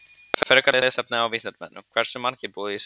Frekara lesefni á Vísindavefnum: Hversu margir búa í Suður-Afríku?